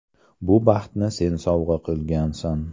Bu baxtni sen sovg‘a qilgansan.